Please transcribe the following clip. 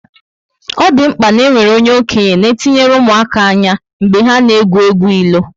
O dị mkpa ná enwere onye okenye na etinyere ụmụaka ányá mgbe ha na egwu egwu ilo